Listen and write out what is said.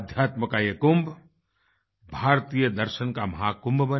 अध्यात्मका ये कुंभ भारतीय दर्शन का महाकुंभ बने